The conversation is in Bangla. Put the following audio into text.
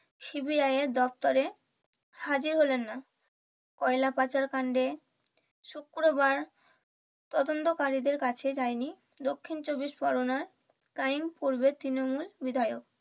সিবিআই এর দপ্তরে হাজির হলেন না কয়লা পাচার কান্ডে শুক্রবার তদন্তকারীদের কাছে যায়নি দক্ষিণ চব্বিশ পরগনার crime পূর্বের তৃণমূল বিধায়ক।